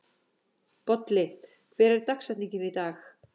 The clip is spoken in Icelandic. Bolli, hver er dagsetningin í dag?